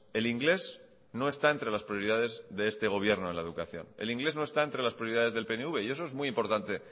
el inglés no está entre las prioridades de este gobierno en la educación el inglés no está entre las prioridades del pnv y eso es muy importante